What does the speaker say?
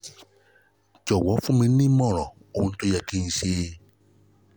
jọ̀wọ́ fún mi ní ìmọ̀ràn ohun tó yẹ kí n ṣe